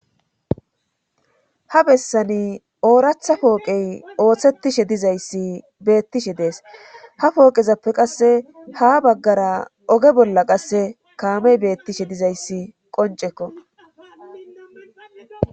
ha bessani ooratha pooqey ooththettishe dizayssi beettishe dees ha pooqezappe qasse ha baggara oge bolla qasse kaamey beettishe dizayssi qoncekko